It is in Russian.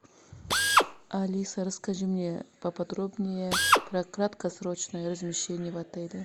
алиса расскажи мне поподробнее про краткосрочное размещение в отеле